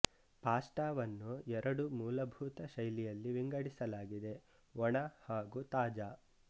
ಪಾಸ್ಟಾವನ್ನು ಎರಡು ಮೂಲಭೂತ ಶೈಲಿಯಲ್ಲಿ ವಿಂಗಡಿಸಲಾಗಿದೆ ಒಣ ಹಾಗೂ ತಾಜಾ